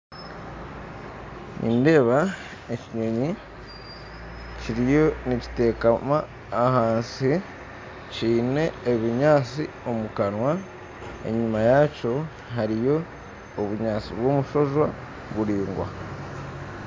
Nindeeba ekinyonyi kiriyo nikiteekama ahansi kiine ebinyatsi omukanwa, enyima yaakyo hariyo obunyatsi bw'omushojwa buringwa